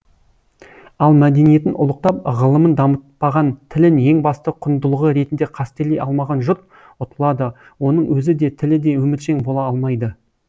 ал мәдениетін ұлықтап ғылымын дамытпаған тілін ең басты құндылығы ретінде қастерлей алмаған жұрт ұтылады оның өзі де тілі де өміршең бола алмайды